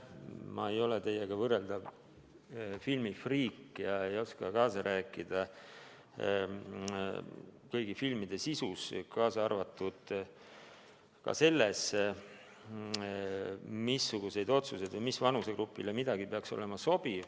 Ma ei ole teiega võrreldav filmifriik ja ei oska kaasa rääkida kõigi filmide sisu teemal ega ka nendes otsustes, mis peaks mingisugusele vanusegrupile sobiv olema.